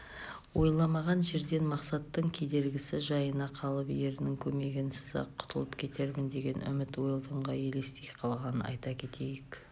ойламаған жерден мақсаттың кедергісі жайына қалып ерінің көмегінсіз-ақ құтылып кетермін деген үміт уэлдонға елестей қалғанын айта кетейік